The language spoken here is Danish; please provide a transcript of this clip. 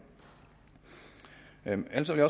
analysere